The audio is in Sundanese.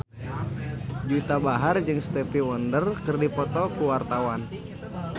Juwita Bahar jeung Stevie Wonder keur dipoto ku wartawan